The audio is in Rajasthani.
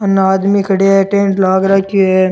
उने आदमी खड्या है टेंट लाग राख्यो है।